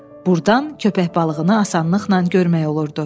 Burdan köpək balığını asanlıqla görmək olurdu.